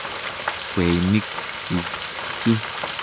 Kweinik chuk chu.